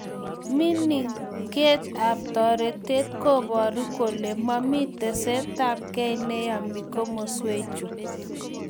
Mininget ab toretet koboru kole momi tesetaetabkei neyemi komaswek chu